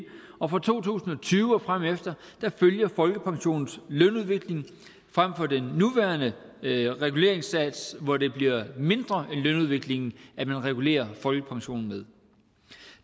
og fra to tusind og tyve og fremefter følger folkepensionen lønudviklingen frem for den nuværende reguleringssats hvor det bliver mindre end lønudviklingen man regulerer folkepensionen med